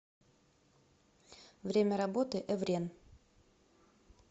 время работы эврен